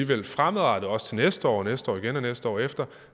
vi fremadrettet også til næste år og næste år igen og næste år efter